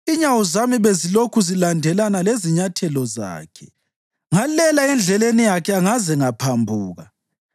Inyawo zami bezilokhu zilandelana lezinyathelo zakhe; ngalela endleleni yakhe angaze ngaphambuka.